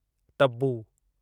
Tabu